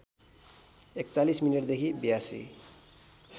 ४१ मिनेटदेखि ८२